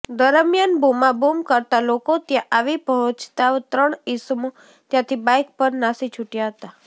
દરમિયાન બૂમાબૂમ કરતાં લોકો ત્યાં આવી પહાંેચતાં ત્રણ ઇસમો ત્યાંથી બાઇક પર નાસી છૂટયા હતા